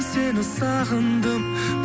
сені сағындым